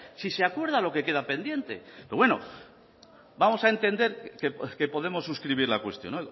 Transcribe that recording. si se acuerda lo que queda pendiente pero bueno vamos a entender que podemos suscribir la cuestión